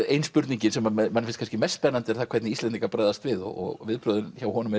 ein spurningin sem manni finnst kannski mest spennandi er það hvernig Íslendingar bregðast við og viðbrögðin hjá honum